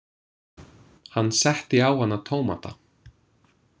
Hann setti á hana tómata.